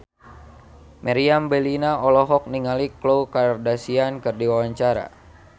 Meriam Bellina olohok ningali Khloe Kardashian keur diwawancara